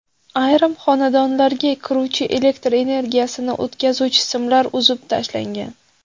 Ayrim xonadonlarga kiruvchi elektr energiyasini o‘tkazuvchi simlar uzib tashlangan.